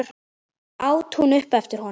át hún upp eftir honum.